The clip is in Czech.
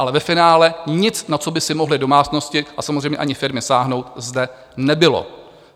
Ale ve finále nic, na co by si mohly domácnosti a samozřejmě ani firmy sáhnout, zde nebylo.